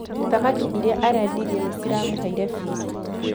Thamaki iria arendirie nĩ ciramũheire biithi